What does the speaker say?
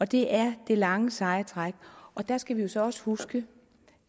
det er det lange seje træk der skal vi jo så også huske